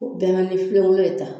O bɛɛ la an mi filengolo de ta